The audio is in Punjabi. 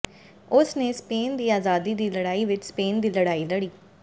ਉਸ ਨੇ ਸਪੇਨ ਦੀ ਆਜ਼ਾਦੀ ਦੀ ਲੜਾਈ ਵਿਚ ਸਪੇਨ ਦੀ ਲੜਾਈ ਲੜੀ